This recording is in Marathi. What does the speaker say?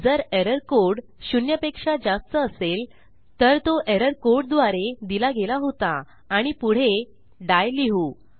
जर एरर कोड शून्यपेक्षा जास्त असेल तर तो एरर कोड द्वारे दिला गेला होता आणि पुढे डाई लिहू